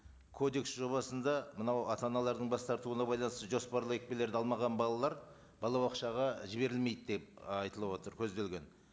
кодекс жобасында мынау ата аналардың бас тартуына байланысты жоспарлы екпелерді алмаған балалар балабақшаға жіберілмейді деп ы айтылып отыр көзделген